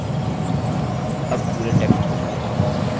अब पूरे text को चुनें